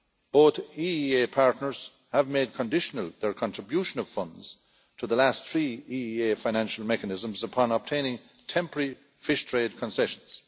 Both EEA partners have made conditional their contribution of funds to the last three EEA Financial Mechanisms, upon obtaining temporary fish trade concessions.